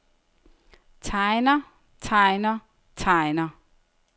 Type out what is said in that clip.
tegner tegner tegner